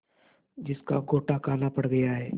जिसका गोटा काला पड़ गया है